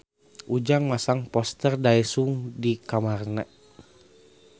Ujang masang poster Daesung di kamarna